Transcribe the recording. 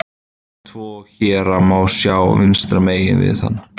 Tvo héra má sjá vinstra megin við hann.